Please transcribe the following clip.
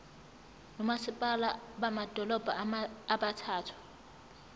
nomasipala bamadolobha abathathu